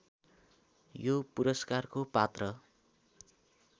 यो पुरस्कारको पात्र